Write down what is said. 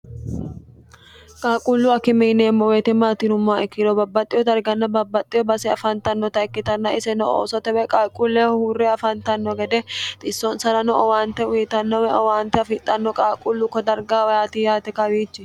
Qaaqqulu akime yineemmo woyite maatinummoa ikkiro babbaxxiho darganna babbaxxiho base afantannota ikkitanna iseno oosotewee qaalquulleehu huurre afantanno gede xissonsarano owaante uyitannowe owaante afixxanno qaaqullukko darga wayti yaate kawiichi